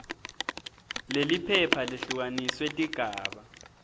leliphepha lehlukaniswe tigaba